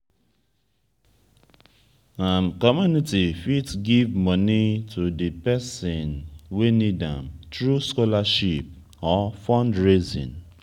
community fit give money to di person wey need am through scholarship or fundraising